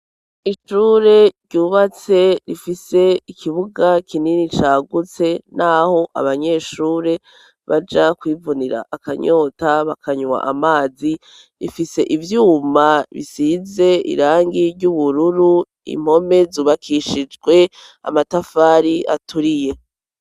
Ishure ryubatse rifise ikibuga kinini cagutse n'aho abanyeshure baja kwivunira akanyota bakanywa amazi ifise ivyuma bisize irangi ry'ubururu, impome zubakishijwe amatafari aturiye.